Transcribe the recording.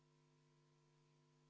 V a h e a e g Vaheaeg on lõppenud.